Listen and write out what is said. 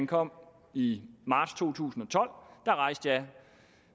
kom i marts to tusind og tolv da rejste